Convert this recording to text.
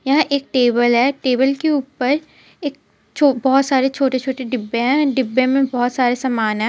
यह एक टेबल है टेबल के ऊपर एक छो-बोहोत सारे छोटे छोटे डिब्बे है डिब्बे मे बोहोत सारे समान है.